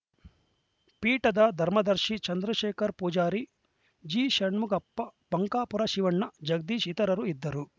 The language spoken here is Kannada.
ಪೀಠದ ಧರ್ಮದರ್ಶಿ ಚಂದ್ರಶೇಖರ ಪೂಜಾರಿ ಜಿಷಣ್ಮುಖಪ್ಪ ಬಂಕಾಪುರ ಶಿವಣ್ಣ ಜಗದೀಶ ಇತರರು ಇದ್ದರು